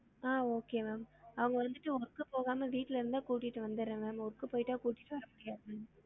ஆஹ் okay ma'am அவங்க வந்துட்டு work போகாம வீட்டுல இருந்தா கூட்டிட்டு வந்துரன் ma'am work கு போயிட்டா கூட்டிட்டு வர முடியாது ma'am